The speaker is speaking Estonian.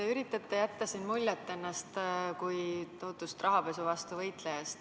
Te üritate jätta siin muljet endast kui tohutust rahapesu vastu võitlejast.